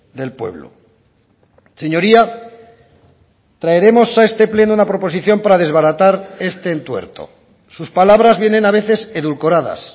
del pueblo señoría traeremos a este pleno una proposición para desbaratar este entuerto sus palabras vienen a veces edulcoradas